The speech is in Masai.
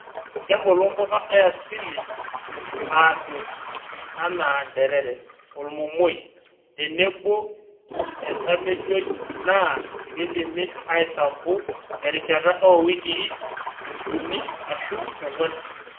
Kebulu mpuka e asili aasioki anaa nterere, olmomoi tenebo entamejoi naa keidimi aisampu terishata oo weikii uni aashu ong'wan.